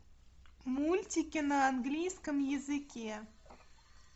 мультики на английском языке